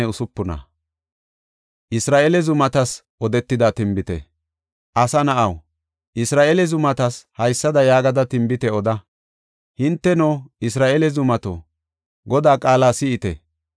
“Asa na7aw, Isra7eele zumata haysada yaagada tinbite oda: ‘Hinteno, Isra7eele zumato, Godaa qaala si7ite.’